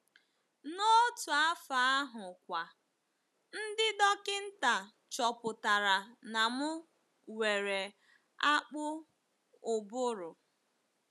N’otu afọ ahụkwa, ndị dọkịnta chọpụtara na m nwere akpụ ụbụrụ.